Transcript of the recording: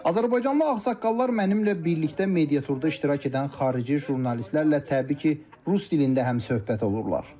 Azərbaycanlı ağsaqqallar mənimlə birlikdə mediaturda iştirak edən xarici jurnalistlərlə təbii ki, rus dilində həmsöhbət olurlar.